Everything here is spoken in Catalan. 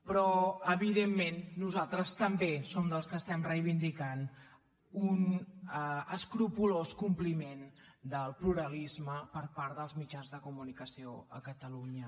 però evidentment nosaltres també som dels que estem reivindicant un escrupolós compliment del pluralisme per part dels mitjans de comunicació a catalunya